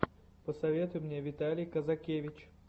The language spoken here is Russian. посоветуй мне виталий казакевич